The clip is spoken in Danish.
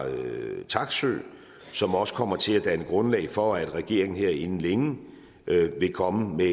taksøe som også kommer til at danne grundlag for at regeringen her inden længe vil komme med